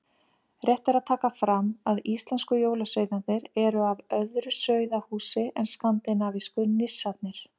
Rétt er að taka fram að íslensku jólasveinarnir eru af öðru sauðahúsi en skandinavísku nissarnir.